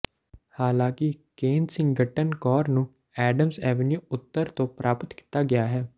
ਹਾਲਾਂਕਿ Kensington core ਨੂੰ Adams avenue ਉੱਤਰ ਤੋਂ ਪ੍ਰਾਪਤ ਕੀਤਾ ਗਿਆ ਹੈ